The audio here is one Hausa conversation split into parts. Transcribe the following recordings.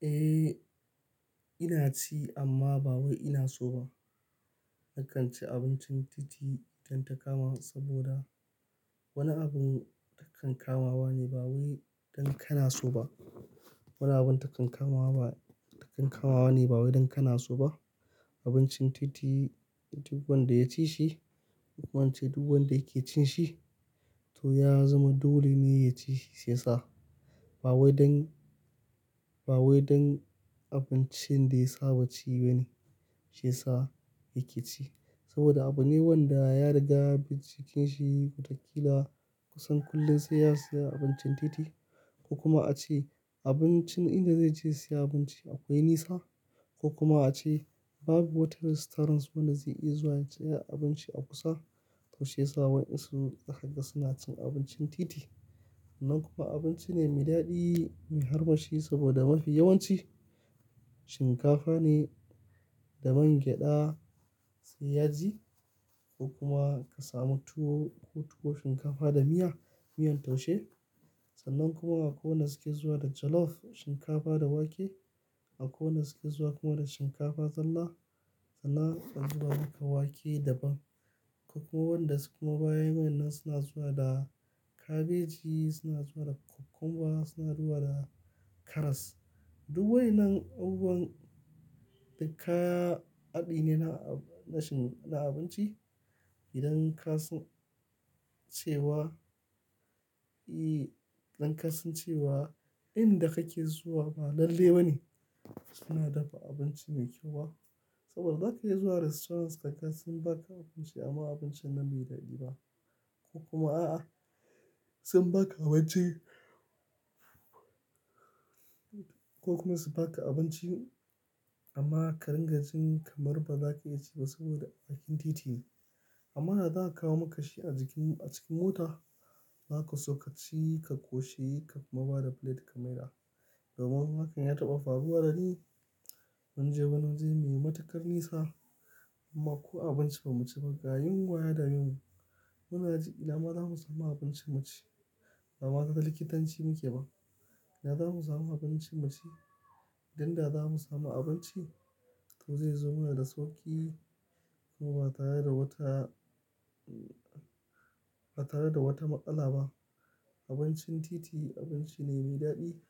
Eh, ina ci amma ba wai ina so ba. Nakan ci abincin titi idan ta kama saboda wani abun takan kamawa ne ba wai don kana so ba. Wani abun takan kamawa ne ba wai don kana so ba. Abincin titi duk wanda ya ci shi, ko in ce duk wanda yake cin shi to ya zama dole ne ya ci shi si yasa. Ba wai don, ba wai don abincin da ya saba ci ba ne shi ya sa yake ci. Saboda abune wanda ya riga yabi jikin shi watakila kusan kullum sai ya siya abincin titi ko kuma ace abincin inda zai je siya abinci akwai nesa ko kuma a ce babu wata restaurants wanda zai iya zuwa ya siya abinci a kusa. To shiyasa wadan su zakaga suna cin abincin titi. Sannan kuma abinci ne mai daɗi, mai harba shi saboda mafi yawanci shinkafa ne da man gyaɗa sai yaji ko kuma ka samu tuwo, tuwo shinkafa da miya, miyan taushe. Sannan kuma wanda suke zuwa da jollof shinkafa da wake. Akwai wanda suke zuwa kuma da shinkafa, zalla sanna da kuma wake da bam. Akwai wanda suke ma baya min nan suna zuwa da kabeji, suna zuwa da cucumber, suna zuwa da karas. Duk wainnan abubuwan daka aɗi ne na, na abinci. Idan ka san ce wa, i, idan ka sun ce wa inda kake zuwa ba lalle ba ne suna dafa abinci mai kyau ba. Saboda zaka iya zuwa restaurants kaga sun ba ka abinci amma abincin nan bai daɗi ba ko kuma a, a sun ba ka abinci ko kuma su ba ka abinci amma ka ringa jin kamar baza ka iya ci ba saboda bakin titi ne. Amma da za a kawo maka shi a jikin, a cikin mota. Zaka so ka ci, ka koshi ka kuma ba da plate ka maida. Domin hakan ya taɓa faruwa da ni mun je wani waje munyi matukar nisa amma ko abinci ba mu ci ba ga yunwa ya dame mu. Muna ji ina ma za mu samu abinci mu ci? Ba mata da likitanci muke ba. Ina za mu samu abinci mu ci? Idan da za mu samu abinci to zai zo mana da sauki kuma ba tare da wata, ba tare da wata maƙala ba. Abincin titi abinci ne mai daɗi,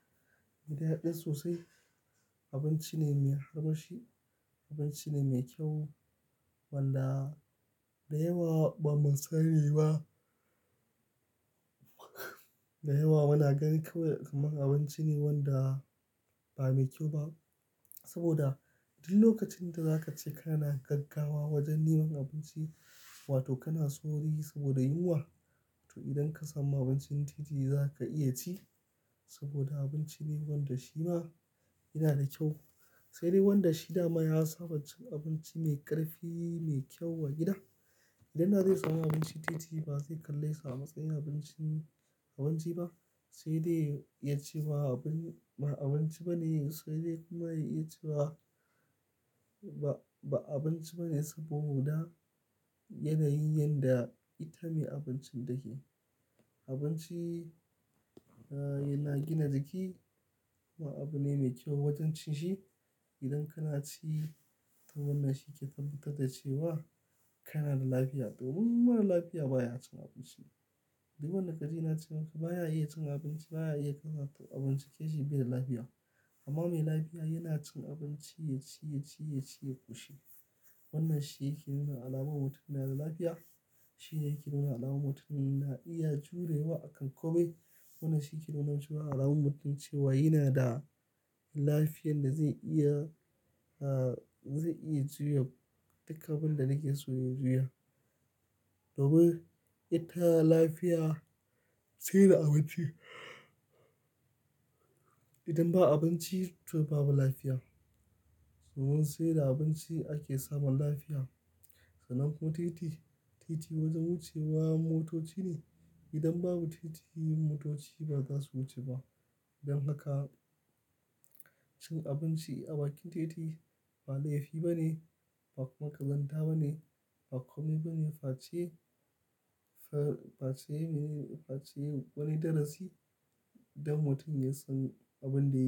mai daɗi sosai. Abinci ne mai harshi. Abinci ne mai kyau wanda da yawa ba mu san shi ba. Da yawa muna gani kawai kaman abinci ne wanda ba mai kyau ba. Saboda duk lokacin da za ka ce kana gaggawa wajen nemo abinci wato kana souri saboda yunwa to idan ka samu abincin titi za ka iya ci saboda abinci ne wanda shi ma yana da kyau. Sai dai wanda shi dama ya saba cin abinci mai ƙarfi, mai kyau a gida. Idan da zai samu abinci titi ba zai kalla sa amatsayin abinci, abinci ba. Sai dai ya ci ba abin, ba abinci ba ne sai dai kuma ya iya cewa ba, ba abinci ba ne saboda yanayin yanda ita mai abincin take. Abinci, ah, yana gina jiki kuma abu ne mai kyau wajen cin shi. Idan kana ci to wannan shi yake tabbatar da cewa kana da lafiya. Domin mara lafiya baya cin abinci. Duk wannan kaji na cema ka baya iya cin abinci baya iya karasa abinci yake shi bai da lafiya. Amma mai lafiya yana cin abinci ya ci, ya ci, ya ci, ya koshi. Wannan shi yake nuna alamar mutum yana da lafiya. Shi yake nuna alamar mutumin na iya jurewa akan ƙomai. Wannan shi yake nuna cewa alamar mutum cewa yana da lafiyar da zai iya, ah, zai iya juya dukkan abin da yake so ya juya. Domin ita lafiya sai da abinci. Idan babu abinci to babu lafiya. Don saida abinci ake samun lafiya. Sannan kuma titi, titi wajen wucewa motoci ne. Idan babu titi motoci ba za su wuce ba. Don haka cin abinci a bakin titi ba laifi ba ne, ba kuma ƙazanta ba ne, ba komai ba ne. Fa ce, fa, fa ce ne, fa ce wani darasi idan mutum ya san abin da yake.